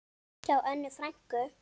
Hjá Önnu frænku.